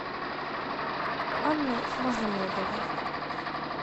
анной магомедовой